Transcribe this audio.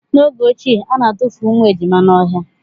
N'oge ochie, ana atufu ụmụ ejima n'ọhịa.